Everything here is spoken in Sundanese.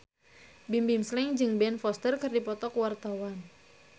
Bimbim Slank jeung Ben Foster keur dipoto ku wartawan